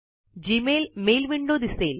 Gmail mail window दिसेल